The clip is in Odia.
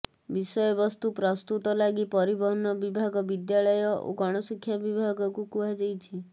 ବିଷୟବସ୍ତୁ ପ୍ରସ୍ତୁତ ଲାଗି ପରିବହନ ବିଭାଗ ବିଦ୍ୟାଳୟ ଓ ଗଣଶିକ୍ଷା ବିଭାଗକୁ କୁହାଯାଇଛି